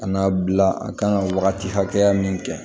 Ka n'a bila a kan ka wagati hakɛya min kɛ